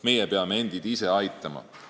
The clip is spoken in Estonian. Meie peame endid ise aitama.